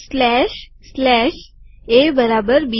સ્લેશસ્લેશA બરાબર બી